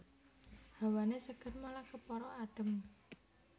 Hawané seger malah kepara adhem